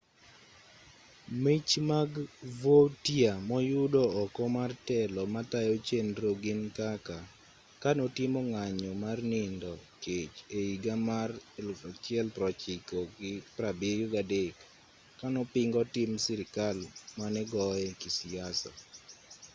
mich mag vautier moyudo oko mar telo matayo chenro gin kaka kanotimo ng'anyo mar nindo kech ehiga mar 1973 kanopingo tim sirkal manegoye kisiasa